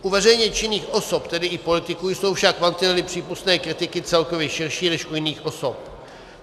U veřejně činných osob, tedy i politiků, jsou však mantinely přípustné kritiky celkově širší než u jiných osob.